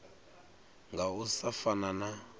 nga u sa fana na